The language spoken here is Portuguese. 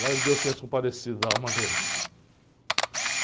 Glória deus que tenha se comparecido da alma dele.